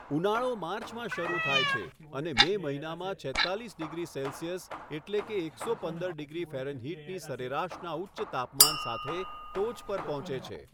ઉનાળો માર્ચમાં શરૂ થાય છે અને મે મહિનામાં છેત્તાલીસ ડિગ્રી સેલ્સિયસ એટલે કે એકસો પંદર ડિગ્રી ફેરેનહીટની સરેરાશના ઉચ્ચ તાપમાન સાથે ટોચ પર પહોંચે છે.